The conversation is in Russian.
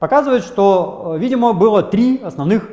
показывает что видимо было три основных